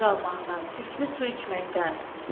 Ac qalmaqdan, çirkli su içməkdən.